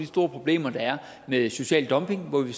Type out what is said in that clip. store problemer der er med social dumping hvor vi